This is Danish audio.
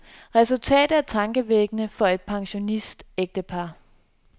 Resultatet er tankevækkende for et pensionistægtepar.